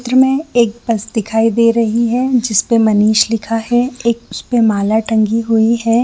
चित्र में एक बस दिखाई दे रही है जिसपे मनीष लिखा है एक उसपे माला टंगी हुई है।